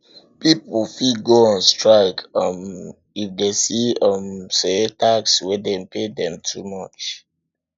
pipo fit go on strike um if dem see um say tax wey dem de pay too much